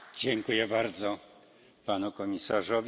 Dziękuję bardzo, panie komisarzu.